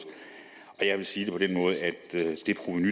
jeg vil sige det på den måde at